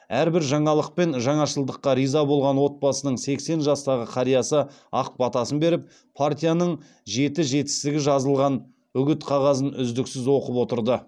әрбір жаңалық пен жаңашылдыққа риза болған отбасының сексен жастағы қариясы ақ батасын беріп партияның жеті жетістігі жазылған үгіт қағазын үздіксіз оқып отырды